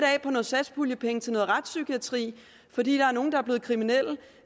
satspuljepenge af til noget retspsykiatri fordi der er nogle der er blevet kriminelle